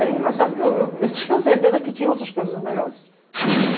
Era engraçado que eu, eu tinha certeza que tinha outras coisas melhores.